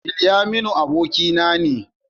Bilyaminu abokina ne.